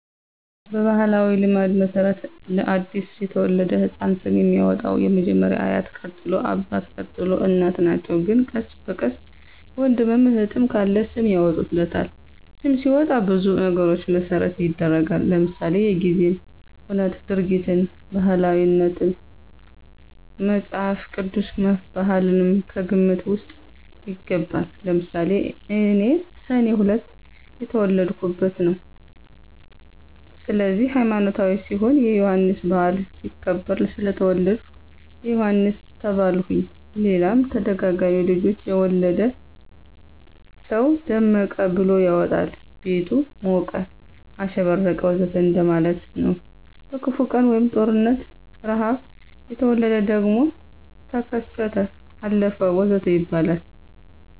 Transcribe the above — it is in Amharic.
በባሕላዊ ልማድ መሠረት ለ አዲስ የተወለደ ሕፃን ስም የሚያወጣዉ መጀመሪያ አያት ቀጥሎ አባት፣ ቀጥሎ እናት ናቸው ግን ቀስ በቀስ ወንድምም እህትም ካለ ስም ያወጡለታል። ስም ሲወጣ ብዙ ነገሮችን መሰረት ይደረጋል ለምሳሌ:-የጊዜን ሁነት፣ ድርጊትን፣ ባህላትን፣ መፅሐፍ ቅዱስን፣ ባህልም ከግምት ውስጥ ይገባል። ለምሳሌ እኔ ሰኔ 2 የተወለድሁበት ነው ስለዚህ ሀይማኖታዊ ሲሆን የዮሐንስ በዓል ሲከበር ስለተወለድሁ ዮሐንስ ተባልሁኝ ሌላም ተደጋጋሚ ልጆች የወለደ ሰው ደመቀ ብሎ ያወጣል ቤቱ ሞቀ፣ አሸበረቀ ወዘተ እንደማለት ነው። በክፉ ቀን(ጦርነት፣ ርሐብ) የተወለደ ደግሞ ተከሰተ፣ አለፈ ወዘተ ይባላል